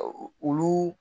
wulu